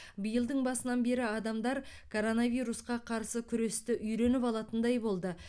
биылдың басынан бері адамдар коронавирусқа қарсы күресті үйреніп алатындай болды